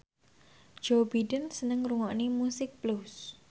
Joe Biden seneng ngrungokne musik blues